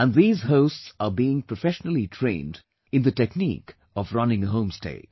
And these hosts are being professionally trained in the technique of running a home stay